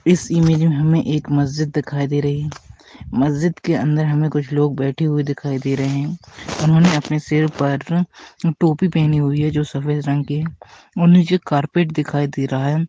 इस इमेज में हमें एक मस्जिद दिखाई दे रही है मस्जिद के अन्दर हमे कुछ लोग बैठे हुवे दिखाई दे रहे है उन्होंने अपने सिर पर टोपी पहनी हुई है जो सफ़ेद रंग की है और नीचे कार्पेट दिखाई दे रहा हे।